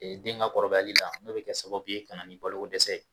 den ka kɔrɔbayali la, n'o bi kɛ sababu ye kana ni baloko dɛsɛ ye